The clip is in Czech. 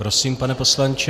Prosím, pane poslanče.